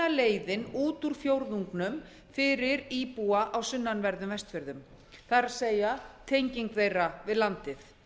leiðin út úr fjórðungnum fyrir íbúa á sunnanverðum vestfjörðum það er tenging þeirra við landið